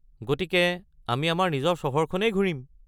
গতিকে আমি আমাৰ নিজৰ চহৰ খনেই ঘূৰিম?